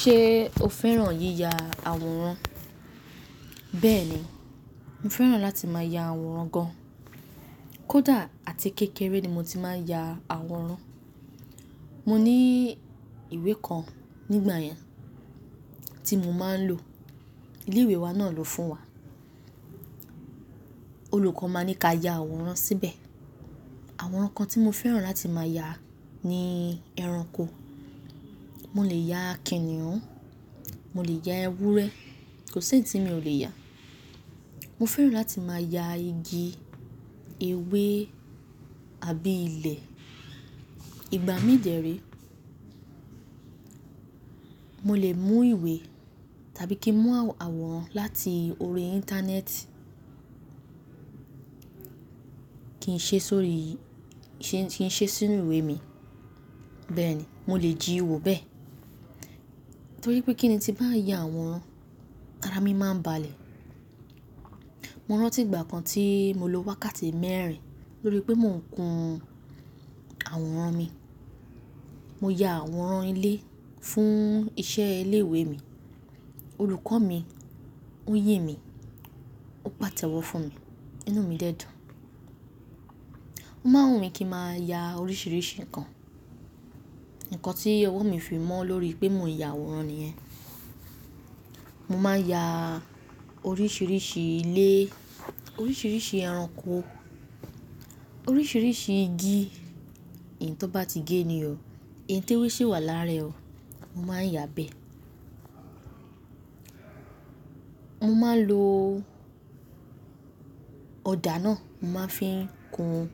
Ṣé e o fẹ́ràn yíya àwòrán? Bẹ́ẹ̀ni, mo fẹ́ràn láti máa ya àwòrán gan. Kódà àti kékeré ni mo ti máa ń ya àwòrán. Mo ní ìwé kan nígbà yẹn tí mo máa ń lò. Ilé ìwé wa náà lò fún wa. Olùkọ́ má ń ní ká ya àwòrán síbẹ̀. Àwọn nǹkan tí mo fẹ́ràn láti máa ya, ni ẹranko. Mo lè ya kìnnìún, mo lè ya ewúrẹ́, kò s'ẹyi ti mi ò lè ya. Mo fẹ́ràn láti máa ya igi, ewé, àbí ilẹ̀. Ìgbà mí dèe ré, mo lè mú ìwé tàbí kí n mú àwòrán láti orí Íńtánẹ́ẹ̀tì kí n ṣe sórí i, kí n ṣe sínú ìwé mi. Bẹ́ẹ̀ni, mo lè jíiwo bẹ́ẹ̀. Torí pé kíni, tí n bá ń ya àwọn, ara mi máa ń balẹ̀. Mo rántí ìgbà kan tí mo lo wákàtí mẹ́rin, lorí pé mò ń kun àwòrán mi. Mo ya àwòrán ilé fún iṣẹ́ ilé ìwé mi. Olùkọ́ mi, ó yìn mí, ó pàtẹ́wọ́ fún mi, inú mi dẹ́ dùn. Ó máa wù mí kí ń máa ya oríṣiríṣi nǹkan. Ǹkan tí ọwọ́ mi fi mọ́ lórí pé mò ń ya àwòrán nìyẹn. Mo máa ya oríṣiríṣi ilé, oríṣiríṣi ẹranko, oríṣiríṣi igi. Eyi tó bá ti gé ni o, ẹyi t'ewé ṣe wà lára ẹ o, mo máa ń ya bẹ́ẹ̀. Mo máa ń lo ọ̀dà náà, mo máa fi ń kun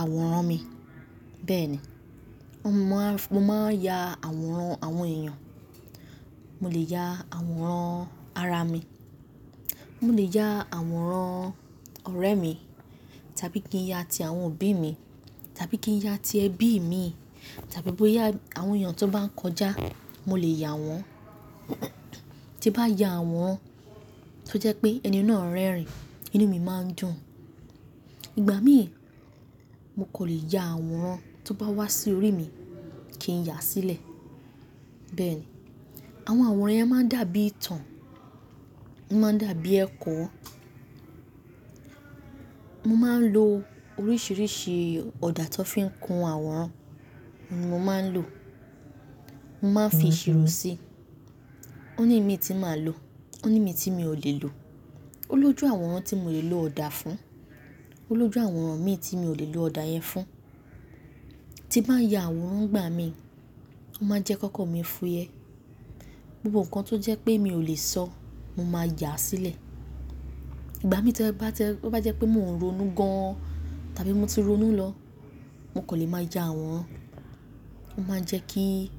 àwòrán mi. Bẹ́ẹ̀ni, mo máa ń ya àwòrán àwọn èèyàn. Mo lè ya àwòrán ara mi, mo lè ya àwòrán ọ̀rẹ́ mi, tàbí kí n ya ti àwọn òbí mi, tàbí kí n ya ti ẹbí imi, tàbí bó ya àwọn èèyàn tó bá ń kọjá, mo lè ya wọ́n. Tí bá ya aworan tó jẹ́ pé ẹni náà rẹ́rìn-ín, inú mi máa ń dùn. Ìgbà'mí, mo kò lè ya àwòrán tó bá wá sí orí mi, kí n yà á sílẹ̀. Bẹ́ẹ̀ni, àwọn àwòrán yẹn máa ń dàbí itan, o máa ń dàbí ẹ̀kọ. Mo máa ń lo oríṣiríṣi ọ̀dà tó fi ń kun àwòrán ni mo máa ń lò. Mo máa ń fi ìṣirò sí i. Ó ní imí tí màá lò, ó ní mi tí mi ò lè lò. Ó lójú àwòrán tí mo lè lo ọ̀dà fún, ó lójú àwòrán imi tí mi ò lè lo ọ̀dà yẹn fún. Tí bá ń ya àwòrán nígbà mí, ó máa ń jẹ́ kókan mi fúyẹ. Gbogbo nǹkan tó jẹ́ pé mi ò lè sọ, mo máa yà á sílẹ̀. Ìgbà mí tí ó bá jẹ́ pé mò ń ronú gan an, tàbí mo ti ronú lọ, mo kò lè máa ya àwòrán. Ó máa ń jẹ́ kí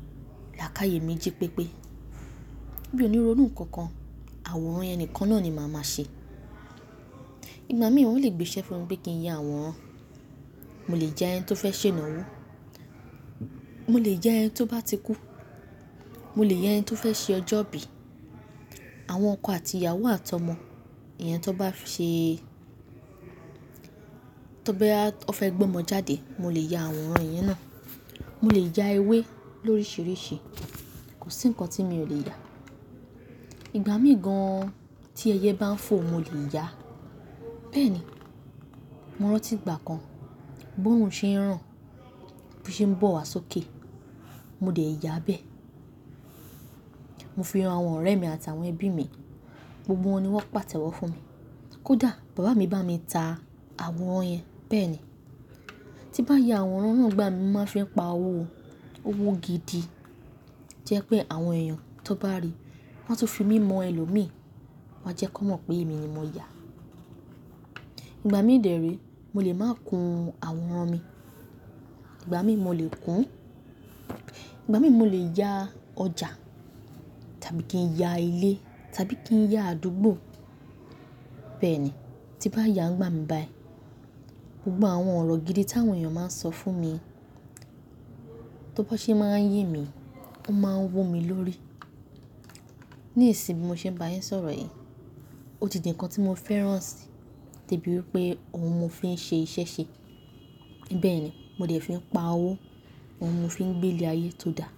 làákàyè mi jí pépé. Mi ò ní ronú nǹkan kan, àwòrán yẹn nìkan na ni màá máa ṣe. Ìgbà mí wọ́n lè gbé isẹ fún mi pe kí n ya àwòrán. Mo lè ya ẹni tó fẹ́ ṣe ìnáwó, mo lè ya ẹni tó bá ti kú, mo lè ya ẹni tó fẹ́ ṣe ọjọ́ ìbí. Àwọn ọkọ àti ìyàwó àti ọmọ, iyẹn tó bá ṣe e tó bá ya, o fẹ́ gbé ọmọ jáde, mo lè ya àwòrán yẹn náà. Mo lè ya ewé lóríṣiríṣi, kò sí nǹkan tí mi ò lè ya. Ìgbà mí gan tí ẹyẹ bá ń fò, mo lè ya. Bẹ́ẹ̀ni, mo rántí ìgbà kan, bóòrùn ṣe ń ràn, bo ṣe ń bọ̀ wá sókè. Mo dẹ̀ yà á bẹ́ẹ̀. Mo fi hán àwọn ọ̀rẹ́ mi àtàwọn ẹbí mi, gbogbo wọn ni wọ́n pàtẹ́wọ́ fún mi. Kódà bàbá mi bá mi ta àwòrán yẹn. Bẹ́ẹ̀ni, tí bá ya àwòrán náà nígbà mí, mo máa fi pa owó, owó gidi. Jẹ́ pé àwọn èèyàn tó bá ríi, wọ́n a ti fi mí ran ẹlòmíì, wọ́n á jẹ́ kó mọ̀ pé èmi ni mo ya. Ìgbà mí dèré, mo lè máa kun àwòrán mi. Ìgbà mí mo lè kún, ìgbà mí mo lè ya ọjà, tàbí kí n ya ilé, tàbí kí n ya àdúgbò. Bẹ́ẹ̀ni, tí bá n ya nígbà mi báyìí, gbogbo àwọn ọ̀rọ̀ gidi tí àwọn èèyàn máa ń sọ fún mi, tó bo ṣe máa ń yìn mí, ó máa wu mi lórí. Ní ìsìn bí mo ṣe ń bá yín sọ̀rọ̀ yìí, ó ti di nǹkan tí mo fẹ́ràn sì, debí wípé òun ni mo fi ń ṣe iṣẹ́ ṣe. Bẹ́ẹ̀ni, mo dẹ̀ fi ń pa owó, òun ni mo fi ń gbé ilé ayé tó dáa.